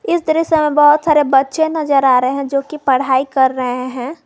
इस दृश्य मैं बहोत सारे बच्चे नजर आ रहे हैं जो की पढ़ाई कर रहे हैं।